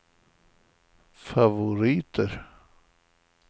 favoriter